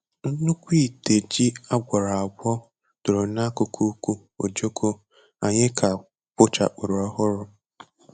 Nnukwu ite ji a gwọrọ agwọ dọrọ n'akụkụ uku ojoko anyị ka kpochapụrụ ọhụrụ.